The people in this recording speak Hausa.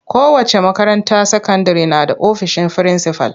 Kowace makaranta sakandire na da ofisin frinsifal.